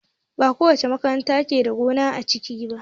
Bakowace makaranta ke da gona a ciki ba